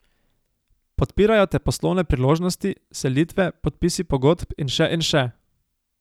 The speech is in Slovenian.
Podpirajo te poslovne priložnosti, selitve, podpisi pogodb in še in še.